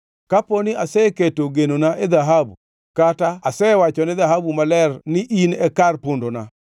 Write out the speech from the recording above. “Kapo ni aseketo genona e dhahabu kata asewachone dhahabu maler ni in e kar pondona,